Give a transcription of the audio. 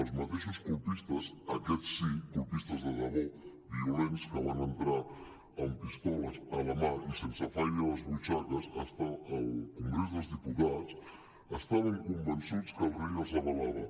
els mateixos colpistes aquests sí colpistes de debò violents que van entrar amb pistoles a la mà i sense fairy a les butxaques al congrés del diputats estaven convençuts que el rei els avalava